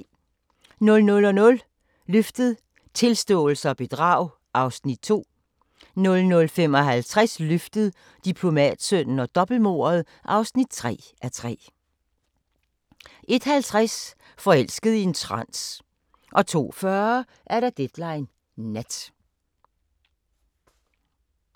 00:00: Løftet - Tilståelse og bedrag (2:3) 00:55: Løftet - Diplomatsønnen og dobbeltmordet (3:3) 01:50: Forelsket i en trans 02:40: Deadline Nat